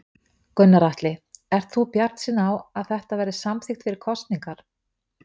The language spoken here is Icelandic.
Gunnar Atli: Ert þú bjartsýnn á að þetta verði samþykkt fyrir kosningar?